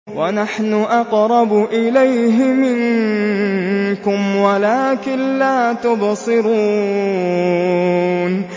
وَنَحْنُ أَقْرَبُ إِلَيْهِ مِنكُمْ وَلَٰكِن لَّا تُبْصِرُونَ